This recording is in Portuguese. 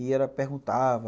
E ela perguntava,